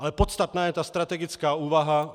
Ale podstatná je ta strategická úvaha.